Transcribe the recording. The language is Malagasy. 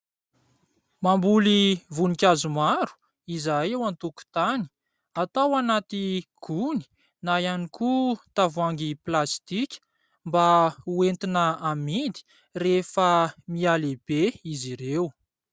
Mamboly voninkazo maro izahay eo an-tokotany, atao anaty gony na ihany koa tavoahangy plastika mba ho entina amidy rehefa mihalehibe izy ireo.